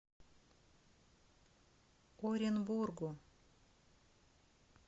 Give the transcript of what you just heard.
оренбургу